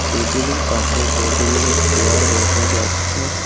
টেবিলের পাশে কতগুলো চেয়ার দেখা যাচ্ছে।